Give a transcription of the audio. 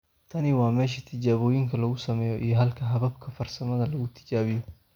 Tani waa meesha tijaabooyinka lagu sameeyo iyo halka hababka farsamada lagu tijaabiyo.